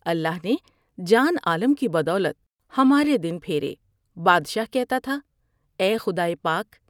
اللہ نے جان عالم کی بدولت ہمارے دن پھیرے '' بادشاہ کہتا تھا اے خدائے پاک!